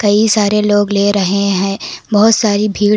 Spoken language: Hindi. कई सारे लोग ले रहे हैं बहुत सारी भीड़--